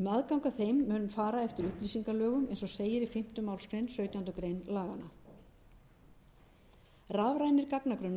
um aðgang að þeim mun fara eftir upplýsingalögum eins og segir í fimmta málsgrein sautjándu grein laganna rafrænir gagnagrunnar